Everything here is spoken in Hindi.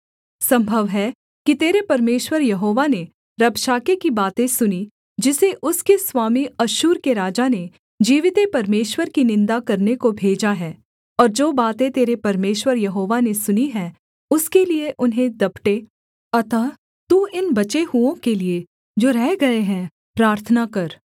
सम्भव है कि तेरे परमेश्वर यहोवा ने रबशाके की बातें सुनी जिसे उसके स्वामी अश्शूर के राजा ने जीविते परमेश्वर की निन्दा करने को भेजा है और जो बातें तेरे परमेश्वर यहोवा ने सुनी हैं उसके लिये उन्हें दपटे अतः तू इन बचे हुओं के लिये जो रह गए हैं प्रार्थना कर